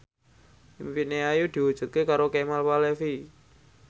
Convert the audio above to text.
impine Ayu diwujudke karo Kemal Palevi